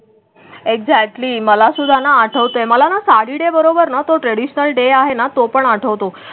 Exactly मलासुद्धाना आठवते मला ना साडी डे बरोबर ना तो ट्रॅडिशनल डे आहे ना तो पण आठवतो.